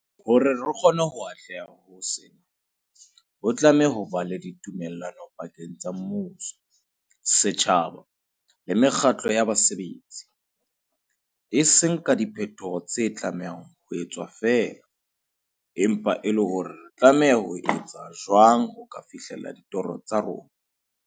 Hore re kgone ho atleha ho sena, ho tlameha ho ba le tumellano pakeng tsa mmuso, setjhaba le mekgatlo ya basebetsi, e seng ka diphetoho tse tlamehang ho etswa feela, empa le hore re tlameha ho etsa jwang ho ka fihlela ditoro tsa rona.